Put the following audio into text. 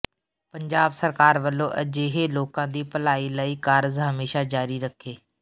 ਪੰਜਾਬ ਸਰਕਾਰ ਵੱਲੋਂ ਅਜਿਹੇ ਲੋਕਾਂ ਦੀ ਭਲਾਈ ਲਈ ਕਾਰਜ ਹਮੇਸ਼ਾਂ ਜਾਰੀ ਰੱਖੇ